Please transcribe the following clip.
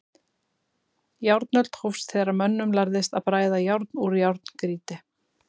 Járnöld hófst þegar mönnum lærðist að bræða járn úr járngrýti.